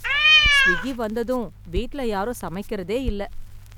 Swiggy வந்ததும் வீட்ல யாரும் சமைக்கிறதே இல்லை.